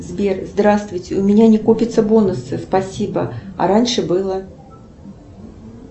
сбер здравствуйте у меня не копятся бонусы спасибо а раньше было